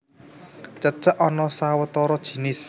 Cecek ana sawetara jinis